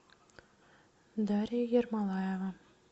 дарья ермолаева